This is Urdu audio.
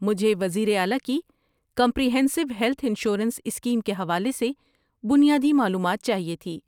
مجھے وزیر اعلی کی کمپریہینسو ہیلتھ انشورنس اسکیم کے حوالے سے بنیادی معلومات چاہیے تھی۔